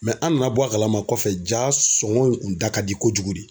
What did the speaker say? an nana bɔ a kalama kɔfɛ, jaa sɔngɔ in kun da ka di kojugu de.